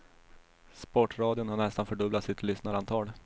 Sportradion har nästan fördubblat sitt lyssnarantal.